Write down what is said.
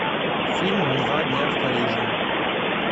фильм два дня в париже